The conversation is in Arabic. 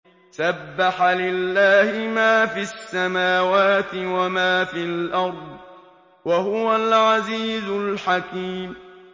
سَبَّحَ لِلَّهِ مَا فِي السَّمَاوَاتِ وَمَا فِي الْأَرْضِ ۖ وَهُوَ الْعَزِيزُ الْحَكِيمُ